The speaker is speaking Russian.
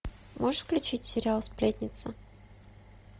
можешь включить сериал сплетница